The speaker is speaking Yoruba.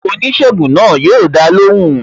Oníṣègùn náà yo dá lóhùn